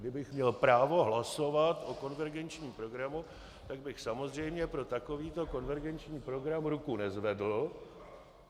Kdybych měl právo hlasovat o konvergenčním programu, tak bych samozřejmě pro takový konvergenční program ruku nezvedl.